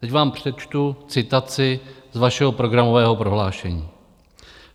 Teď vám přečtu citaci z vašeho programového prohlášení.